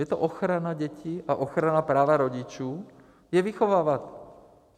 Je to ochrana dětí a ochrana práva rodičů je vychovávat.